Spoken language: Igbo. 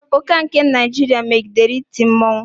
Ụka nke Naịjirịa megidere iti mmọnwụ.